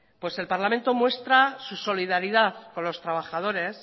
pues el parlamento muestra su solidaridad con los trabajadores